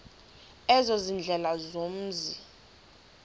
ezo ziindlela zomzi